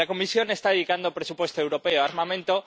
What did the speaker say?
La Comisión está dedicando presupuesto europeo a armamento.